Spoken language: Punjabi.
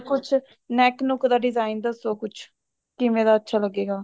ਕੁੱਛ neck ਨੁਕ ਦਾ design ਦਸੋ ਕੁੱਝ ਕਿਵੇਂ ਦਾ ਅੱਛਾ ਲੱਗੇਗਾ